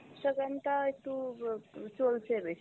instagram টা একটু ব চলছে বেশি